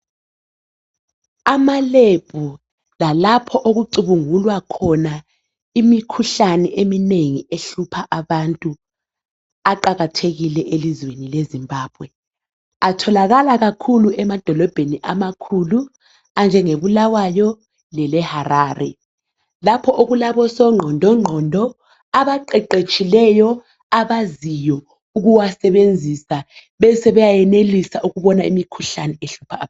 AmaLab lalapho okucubungulwa khona imikhuhlane ehlupha abantu aqakathekile elizweni leZimbabwe atholakala kakhakhulu emalizweni amakhulu anjenge Bulawayo leHarare lapho okulabo sonqondo nqondo abaqeqeshileyo abaziyo ukuwasebenzisa besebe bayayenilisa ukubona imikhuhlane ehlupha abantu